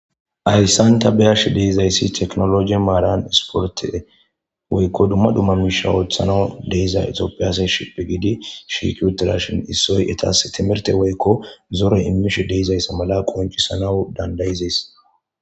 Hayssan ta be7ashe de7izayssi teknologi maaran esporte woykko dumma dumma miisha ooththanawu deiza exopiyase shipi gidi shikuterashin issoy etas timerte woykko zore immish deizayssa mala qoncisanawu dandayizes.